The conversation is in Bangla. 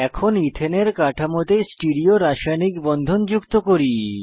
এখন ইথেনের কাঠামোতে স্টিরিও রাসায়নিক বন্ধন যুক্ত করি